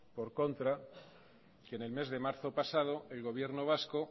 por contra que en el mes de marzo pasado el gobierno vasco